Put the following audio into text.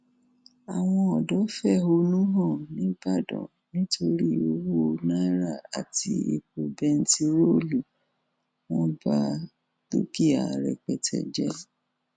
àwọn ọdọ fẹhónú hàn nìbàdàn nítorí owó náírà àti epo bẹntiróòlù wọn ba dúkìá rẹpẹtẹ jẹ